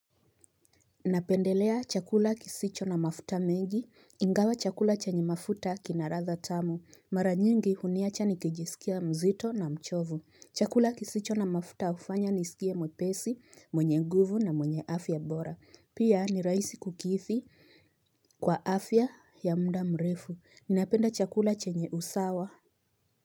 Napendelea chakula kisicho na mafuta mengi. Ingawa chakula chenye mafuta kinaradha tamu. Maranyingi huniacha nikijisikia mzito na mchovu. Chakula kisicho na mafuta ufanya nisikia mwepesi, mwenye nguvu na mwenye afya bora. Pia ni raisi kukithi kwa afya ya mda mrefu. Ninapenda chakula chenye usawa.